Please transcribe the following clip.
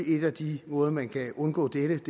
en af de måder man kan undgå dette